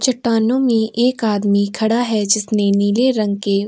चट्टानों में एक आदमी खड़ा है जिसने नीले रंग के --